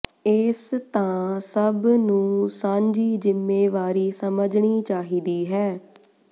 ਇਸ ਤਾਂ ਸਭ ਨੂੰ ਸਾਂਝੀ ਜ਼ਿੰਮੇਵਾਰੀ ਸਮਝਣੀ ਚਾਹੀਦੀ ਹੈ